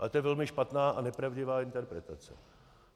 A to je velmi špatná a nepravdivá interpretace.